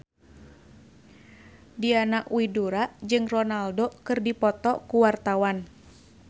Diana Widoera jeung Ronaldo keur dipoto ku wartawan